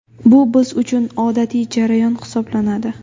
Bu biz uchun odatiy jarayon hisoblanadi.